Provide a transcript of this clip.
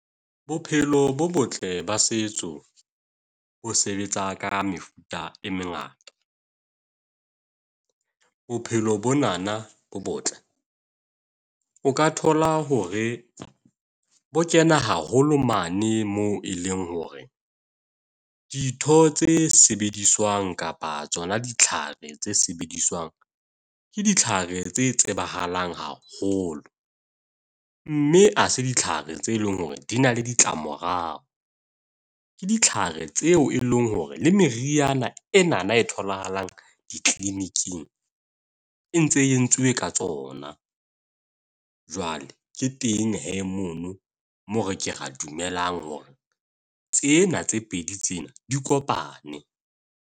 Bophelo bo botle ba setso bo sebetsa ka mefuta e mengata. Bophelo bonana bo botle o ka thola hore bo kena haholo mane moo e leng hore, ditho tse sebediswang kapa tsona ditlhare tse sebediswang ke ditlhare tse tsebahalang haholo, mme ha se ditlhare tse leng hore di na le ditlamorao. Ke ditlhare tseo e leng hore le meriana enana e tholahalang di-clinic-ing e ntse e entsuwe ka tsona. Jwale ke teng hee mono moo re ke ra dumelang hore tsena tse pedi tsena di kopane.